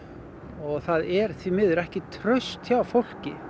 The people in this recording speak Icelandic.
og það er því miður ekki traust hjá fólki